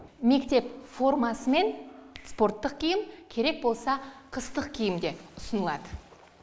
мектеп формасы мен спорттық киім керек болса қыстық киім де ұсынылады